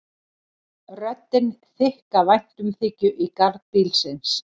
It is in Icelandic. Röddin þykk af væntumþykju í garð bílsins.